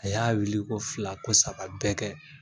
A y'a wili ko fila, ko saba bɛ kɛ.